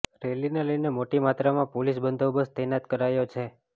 રેલીને લઇને મોટી માત્રામાં પોલીસ બંદોબસ્ત તૈનાત કરાયો છે